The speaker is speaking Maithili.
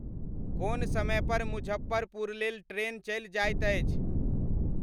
कोन समय पर मुजफ्फरपुर लेल ट्रेन चलि जाइत अछि